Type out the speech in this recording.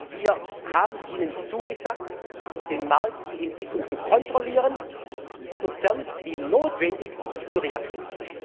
Wir haben Ihnen zugesagt, den Markt, die Entwicklung zu kontrollieren und sofern notwendig zu reagieren.